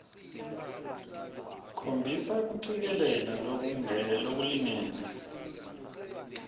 khombisa kucikelela lokulingene